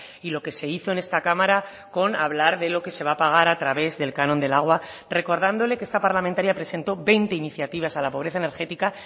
y lo que se hizo en esta cámara con hablar de lo que se va a pagar a través del canon del agua recordándole que esta parlamentaria presentó veinte iniciativas a la pobreza energética